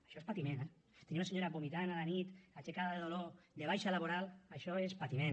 això és patiment eh tenir una senyora vomitant a la nit aixecada de dolor de baixa laboral això és patiment